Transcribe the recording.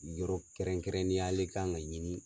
Yɔrɔ kɛrɛn-kɛrɛnniya le kan ka ɲini